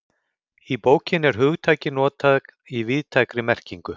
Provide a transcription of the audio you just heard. Í bókinni er hugtakið notað í víðtækri merkingu.